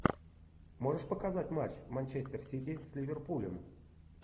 можешь показать матч манчестер сити с ливерпулем